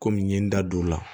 Kɔmi n ye n da don o la